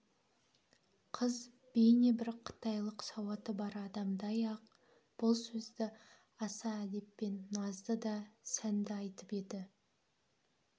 қыз бейне бір қытайлық сауаты бар адамдай-ақ бұл сөзді аса әдеппен назды да сәнді айтып еді